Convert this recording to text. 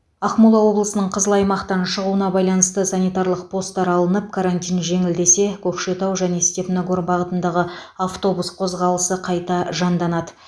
ақмола облысының қызыл аймақтан шығуына байланысты санитарлық постар алынып карантин жеңілдесе көкшетау және степногор бағытындағы автобус қозғалысы қайта жанданады